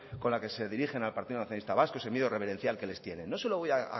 con la que se dirigen al partido nacionalista vasco y ese miedo reverencial que les tienen no se lo voy